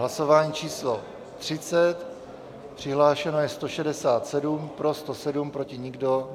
Hlasování číslo 30, přihlášeno je 167, pro 107, proti nikdo .